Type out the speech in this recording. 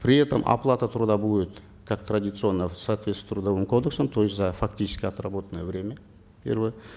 при этом оплата труда будет как традиционная в соответствии с трудовым кодексом то есть за фактически отработанное время первое